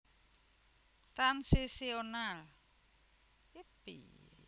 Transitional